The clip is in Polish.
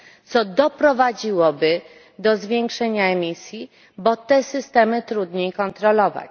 co doprowadziłoby do zwiększenia emisji, bo te systemy trudniej kontrolować.